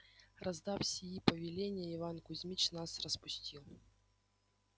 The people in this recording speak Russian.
раздав сии повеления иван кузмич нас распустил